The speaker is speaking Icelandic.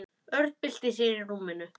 Örn bylti sér í rúminu.